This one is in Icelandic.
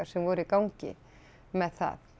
sem voru í gangi með það